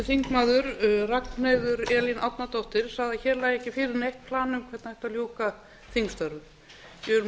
þingmaður ragnheiður elín árnadóttir sagði að hér lægi ekki fyrir neitt plan um hvernig ætti að ljúka þingstörfum ég vil